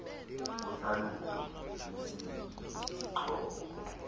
uhlalutyo lwesini sisixhobo